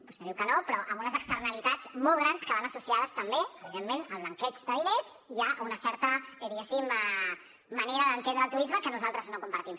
vostè diu que no però a unes externalitats molt grans que van associades també al blanqueig de diners i a una certa diguéssim manera d’entendre el turisme que nosaltres no compartim